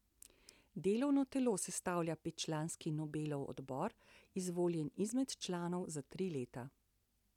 Delovno telo sestavlja petčlanski Nobelov odbor, izvoljen izmed članov za tri leta.